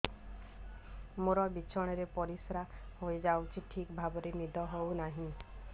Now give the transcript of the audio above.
ମୋର ବିଛଣାରେ ପରିସ୍ରା ହେଇଯାଉଛି ଠିକ ଭାବେ ନିଦ ହଉ ନାହିଁ